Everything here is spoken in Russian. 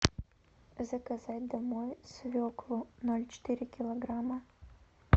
заказать домой свеклу ноль четыре килограмма